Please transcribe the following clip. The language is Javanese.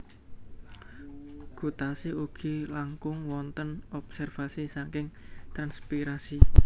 Gutasi ugi langkung wontén obsérvasi saking transpiirasi